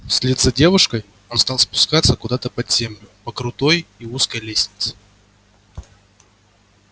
вслед за девушкой он стал спускаться куда то под землю по крутой и узкой лестнице